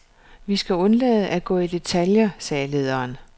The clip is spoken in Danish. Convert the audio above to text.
Vi skal undlade at gå i detaljer, sagde lederen.